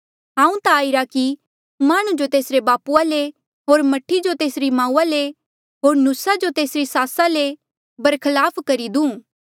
हांऊँ ता आईरा कि माह्णुं जो तेसरे बापूआ ले होर मह्ठी जो तेस्सा री माऊआ ले होर न्हुसा जो तेस्सा री सासा ले बरखलाप करी दूं